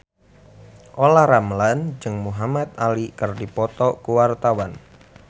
Olla Ramlan jeung Muhamad Ali keur dipoto ku wartawan